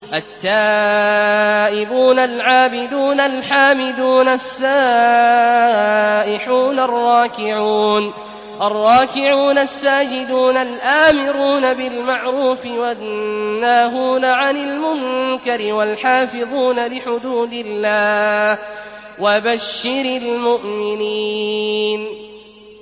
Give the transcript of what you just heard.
التَّائِبُونَ الْعَابِدُونَ الْحَامِدُونَ السَّائِحُونَ الرَّاكِعُونَ السَّاجِدُونَ الْآمِرُونَ بِالْمَعْرُوفِ وَالنَّاهُونَ عَنِ الْمُنكَرِ وَالْحَافِظُونَ لِحُدُودِ اللَّهِ ۗ وَبَشِّرِ الْمُؤْمِنِينَ